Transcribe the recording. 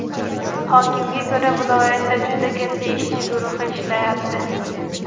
Hokimga ko‘ra viloyatda juda katta ishchi guruhi ishlayapti.